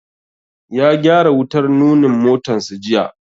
Ya gyara wutar nunin motansa jiya.